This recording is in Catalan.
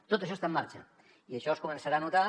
tot això està en marxa i això es començarà a notar